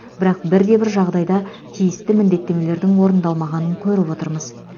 бірақ бірде бір жағдайда тиісті міндеттемелердің орындалмағанын көріп отырмыз